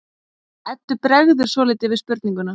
Eddu bregður svolítið við spurninguna.